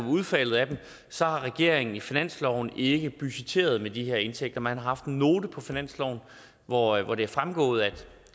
udfaldet af dem så har regeringen i finansloven ikke budgetteret med de her indtægter man har haft en note på finansloven hvoraf det er fremgået